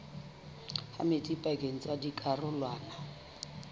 ha metsi pakeng tsa dikarolwana